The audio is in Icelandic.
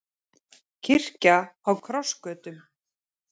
Kirkja á krossgötum